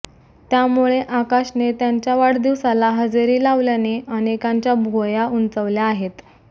त्यामुळे आकाशने त्याच्या वाढदिवसाला हजेरी लावल्याने अनेकांच्या भुवया उंचावल्या आहेत